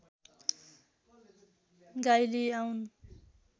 गाई लिई आउन